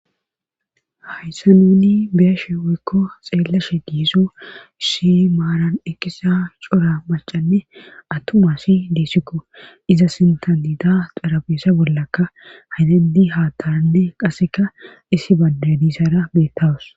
Hayssa nuuni biyashe woykko xeellashe diiso issi maaran ekkisa cora macanne atumasi deessikko iza sintantida xarabeesa bollakka haydandi haataanne qaseka isi badedisana beettawus.